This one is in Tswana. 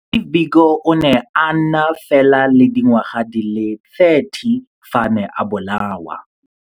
Steve Biko o ne a na fela le dingwaga di le 30 fa a ne a bolawa.